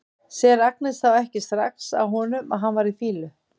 Sér Agnes þá ekki strax á honum að hann var í fýlu?